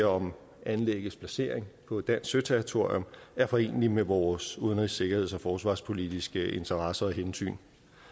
om anlæggets placering på dansk søterritorium er foreneligt med vores udenrigs sikkerheds og forsvarspolitiske interesser og hensyn